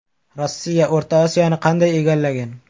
Rossiya O‘rta Osiyoni qanday egallagan?.